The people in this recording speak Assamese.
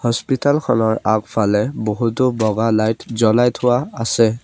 হস্পিতাল খনৰ আগফালে বহুতো বগা লাইট জ্বলাই থোৱা আছে।